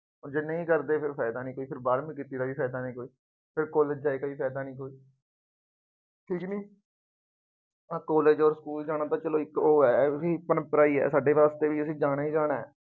ਜੇ ਉਹ ਨਹੀਂ ਕਰਦੇ ਫੇਰ ਫਾਇਦਾ ਨਹੀਂ ਕੋਈ, ਫੇਰ ਬਾਰਵੀਂ ਕੀਤੀ ਦਾ ਵੀ ਫਾਇਦਾ ਨਹੀਂ ਕੋਈ। ਫੇਰ ਕਾਲਜ ਜਾਏ ਦਾ ਵੀ ਫਾਇਦਾ ਨਹੀਂ ਕੋਈ ਪਿਛਲੀ ਆਹ ਕਾਲਜ ਅਤੇ ਸਕੂਲ ਜਾਣਾ ਤਾਂ ਚੱਲੋ ਇੱਕ ਉਹ ਹੈ ਪਰੰਪਰਾ ਹੀ ਹੈ ਸਾਡੇ ਵਾਸਤੇ ਵੀ ਇਹਨੇ ਜਾਣਾ ਹੀ ਜਾਣਾ।